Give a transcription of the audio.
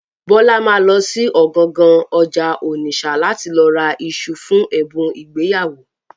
Bọ́lá ma lọ sí ọ̀gangan ọjà Ònìṣà láti lọ ra iṣu fún ẹ̀bùn ìgbéyàwó.